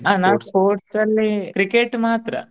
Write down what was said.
ಆ ನಾನ್ sports ಅಲ್ಲಿ Cricket ಮಾತ್ರ.